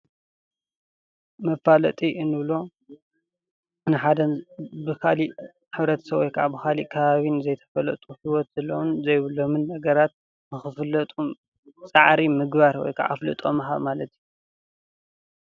መፋለጢ እንብሎ ንሓደ ብካሊእ ሕብረተሰብ ወይ ከዓ ካሊእ ከባቢ ንዘይተፈለጡ ሂወት ዘለዎምን ዘይብሎምን ነገራት ንክፍለጡ ፃዕሪ ምግባር ወይ ከዓ ኣፍልጦ ምሃብ ማለት እዩ።